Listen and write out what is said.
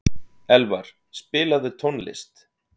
Elvar, spilaðu tónlist.